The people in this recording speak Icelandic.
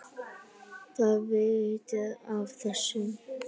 Þið vitið af þessu?